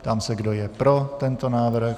Ptám se, kdo je pro tento návrh.